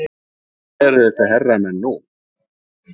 Hvar eru þessir herramenn nú?